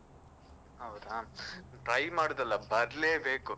ಹೌದಾ, try ಮಾಡುದಲ್ಲ ಬರ್ಲೇ ಬೇಕು.